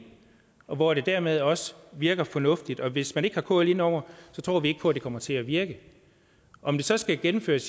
og hvor det dermed også virker fornuftigt og hvis man ikke har kl inde over det tror vi ikke på at det kommer til at virke om det så skal gennemføres